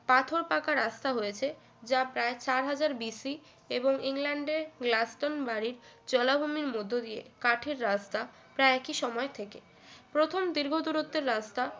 পাথর পাকা রাস্তা হয়েছে যা প্রায় চার হাজার বিসি এবং ইংল্যান্ডের গ্লাস্টন মারিড জলাভূমির মধ্য দিয়ে কাঠের রাস্তা প্রায় একই সময় থেকে প্রথম দীর্ঘ দূরত্বের রাস্তা